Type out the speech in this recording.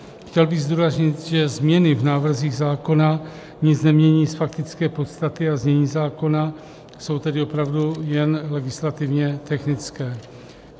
Chtěl bych zdůraznit, že změny v návrzích zákona nic nemění z faktické podstaty, a znění zákona jsou tedy opravdu jen legislativně technická.